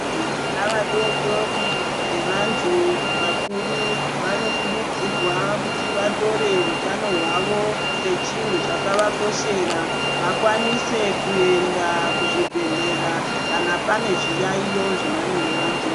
Vana vadodori nevantu vakuru vanokurudzirwa kuti vatore utano hwavo sechinhu chakavakoshera vakwanise kuenda kuzvibhehleya kana pane zviyayiyo zvavanenge vanzwa.